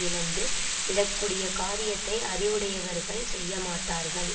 இழந்து விடக்கூடிய காரியத்தை அறிவுடையவர்கள் செய்யமாட்டார்கள்